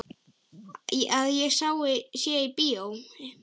Að ég sé í bíói.